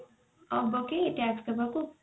ହବ କି tax ଦବାକୁ?